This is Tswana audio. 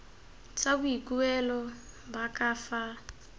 tsa boikuelo ba ka fa